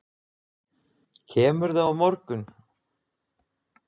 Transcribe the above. Kemurðu á morgun?